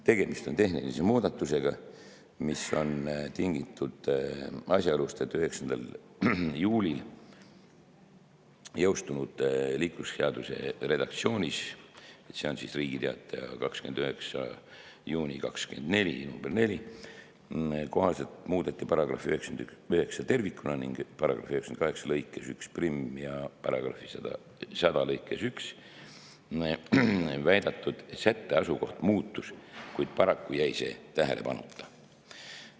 Tegemist on tehniliste muudatustega, mis on tingitud asjaolust, et 9. juulil 2024 jõustunud liiklusseaduse redaktsiooni – see on Riigi Teataja 29. juuni 2024, nr 4 – kohaselt muudeti § 99 tervikuna ning § 98 lõikes 11 ja § 100 lõikes 1 viidatud sätte asukoht muutus, kuid paraku jäi see tähelepanuta.